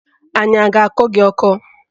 Anya a ga-akọ gị ọkọ?